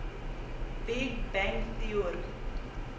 big bang theory